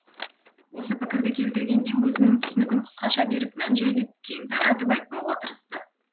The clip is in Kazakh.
осы пікірді келтіргенде өзінің түсінігін қысқаша беріп мән жайды кең таратып айтпауға тырысты